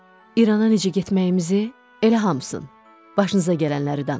İrana necə getməyimizi elə hamısını başınıza gələnləri danışın.